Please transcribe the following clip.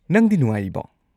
ꯅꯪꯗꯤ ꯅꯨꯡꯉꯥꯏꯔꯤꯕꯣ?